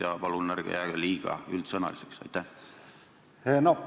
Ja palun ärge jääge liiga üldsõnaliseks!